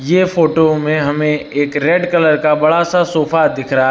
यह फोटो में हमें एक रेड कलर का बड़ा सा सोफा दिख रहा है।